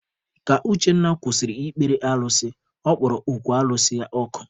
Ka Uchenna kwụsịrị ịkpere alụsị, ọ kpọrọ okwu alụsị ya ọkụ.